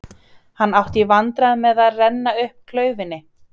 Hann átti í vandræðum með að renna upp klaufinni.